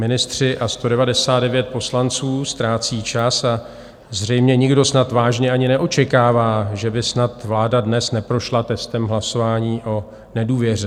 Ministři a 199 poslanců ztrácí čas a zřejmě nikdo snad vážně ani neočekává, že by snad vláda dnes neprošla testem hlasování o nedůvěře.